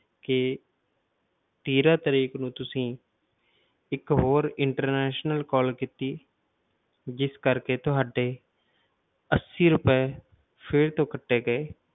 ਕਿ ਤੇਰਾਂ ਤਰੀਕ ਨੂੰ ਤੁਸੀਂ ਇੱਕ ਹੋਰ international call ਕੀਤੀ, ਜਿਸ ਕਰਕੇ ਤੁਹਾਡੇ ਅੱਸੀ ਰੁਪਏ ਫਿਰ ਤੋਂ ਕੱਟੇ ਗਏ,